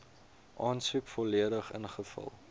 aansoek volledig ingevul